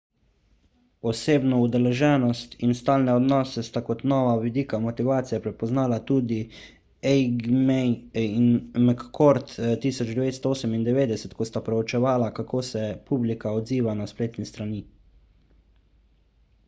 »osebno udeleženost« in »stalne odnose« sta kot nova vidika motivacije prepoznala tudi eighmey in mccord 1998 ko sta preučevala kako se publika odziva na spletne strani